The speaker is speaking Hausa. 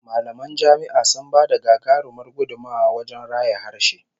Mallaman jami'a sun ba da gagarumar gudummuwa wajen raya harshe